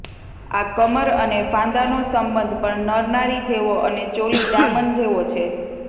આ કમર અને ફાંદાનો સંબંધ પણ નરનારી જેવો અને ચોલી દામન જેવો છે